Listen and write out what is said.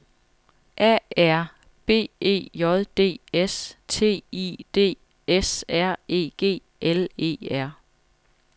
A R B E J D S T I D S R E G L E R